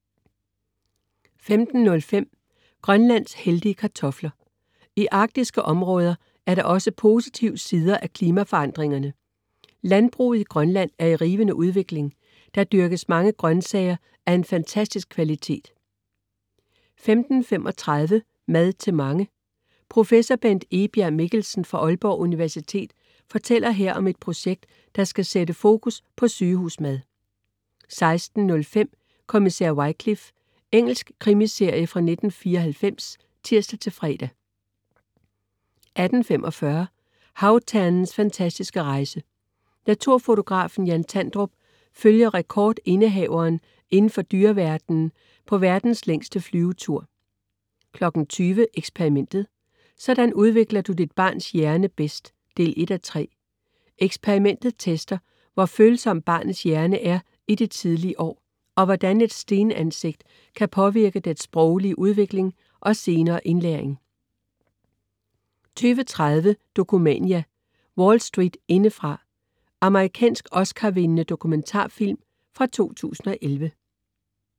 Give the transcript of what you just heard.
15.05 Grønlands heldige kartofler. I arktiske områder er der også positive sider af klimaforandringerne: Landbruget i Grønland er i rivende udvikling. Der dyrkes mange grønsager af en fantastisk kvalitet 15.35 Mad til mange. Professor Bent Egbjerg Mikkelsen fra Aalborg Universitet fortæller her om et projekt, der skal sætte fokus på sygehusmad 16.05 Kommissær Wycliffe. Engelsk krimiserie fra 1994 (tirs-fre) 18.45 Havternens fantastiske rejse. Naturfotografen Jan Tandrup følger rekordindehaveren indenfor dyreverdenen på verdens længste flyvetur 20.00 Eksperimentet: Sådan udvikler du dit barns hjerne bedst 1:3. Eksperimentet tester, hvor følsom barnets hjerne er i de tidlige år, og hvordan et stenansigt kan påvirke dets sproglige udvikling og senere indlæring 20.30 Dokumania: Wall Street indefra. Amerikansk oscarvindende dokumentarfilm fra 2011